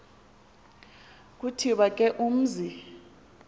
kuthiwe ke umzi